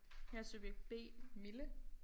Jeg subjekt B Mille